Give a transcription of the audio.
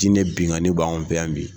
Diinɛ binnkanni bɛ anw fɛ yan bi